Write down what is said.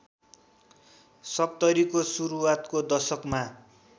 सत्तरीको सुरुवातको दशकमा